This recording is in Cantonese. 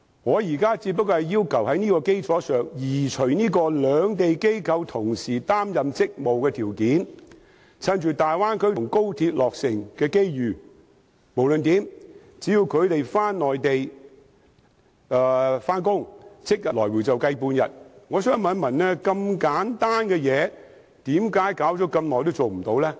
我現在只是要求在這項基礎上移除同時在兩地擔任職務的條件，藉大灣區及高鐵落成的機遇，只要他們前往內地上班，即日回港，便算作停留半天。